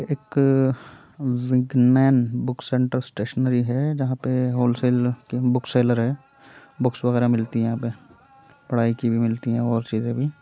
एक विग्नेन book centre stationery है जहाँ पे होलसेल के बुकसेलर है बुक्स वगेरा मिलती है यहाँ पे पढाई की भी मिलती है और चीजों भी --